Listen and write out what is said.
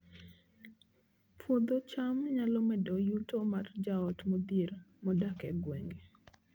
Puodho cham nyalo medo yuto mar joot modhier modak e gwenge